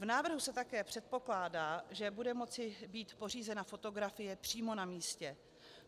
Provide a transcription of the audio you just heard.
V návrhu se také předpokládá, že bude moci být pořízena fotografie přímo na místě.